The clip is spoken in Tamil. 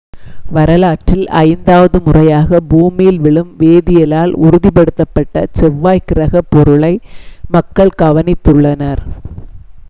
வரலாற்றில் ஐந்தாவது முறையாக பூமியில் விழும் வேதியியலால் உறுதிப்படுத்தப்பட்ட செவ்வாய் கிரகப் பொருளை மக்கள் கவனித்துள்ளனர்